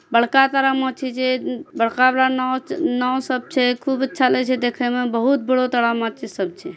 बड़का ताड़ा माची छे। उ बड़का बड़ा नाव-नाव सब छे। खूब अच्छा लगे छै देखेमा। बहुत बड़ा ताड़ा माची सब छे।